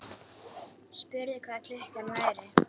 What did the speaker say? Spurði hvað klukkan væri.